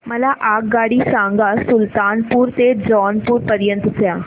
मला आगगाडी सांगा सुलतानपूर ते जौनपुर पर्यंत च्या